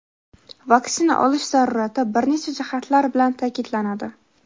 vaksina olish zarurati bir necha jihatlar bilan ta’kidlanadi.